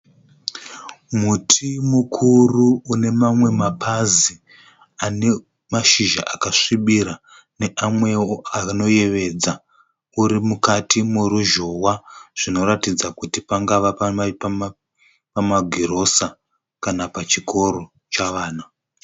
Muti mukuru une mamwe mapazi ane mashizha akasvibira neamwewo anoyevedza uri mukati meruzhowa zvinoratidza kuti pangave pamagirosa kana pachikoro chavana.